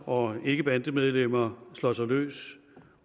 og ikkebandemedlemmer slår sig løs